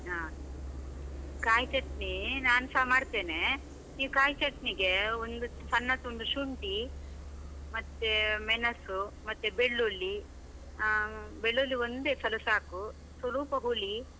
ಹಾ, ಕಾಯಿ ಚಟ್ನಿ ನಾನ್ಸ ಮಾಡ್ತೇನೆ, ನೀವ್ ಕಾಯ್ ಚಟ್ನಿಗೆ ಒಂದು ಸಣ್ಣ ತುಂಡು ಶುಂಠಿ, ಮತ್ತೇ ಮೆಣಸು ಮತ್ತೆ ಬೆಳ್ಳುಳ್ಳಿ, ಆ ಬೆಳ್ಳುಳ್ಳಿ ಒಂದೇ ಎಸಳು ಸಾಕು, ಸ್ವಲೂಪ ಹುಳಿ.